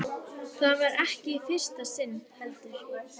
Það var ekki í fyrsta sinn, heldur.